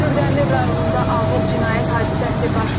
Kürdəmir rayonunda ağır cinayət hadisəsi baş verib.